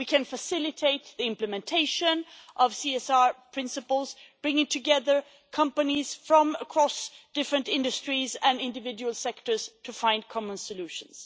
We can facilitate the implementation of CSR principles, bringing together companies from across different industries and individual sectors to find common solutions.